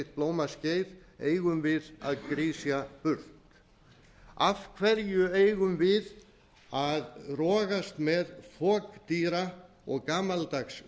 blómaskeið eigum við að grisja burt af hverju eigum við að rogast með fokdýra og gamaldags